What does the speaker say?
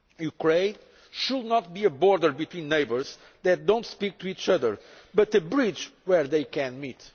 Ukraine should not be a border between neighbours that do not speak to each other but a bridge where they can